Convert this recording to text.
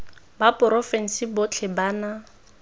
ba porofense botlhe ba na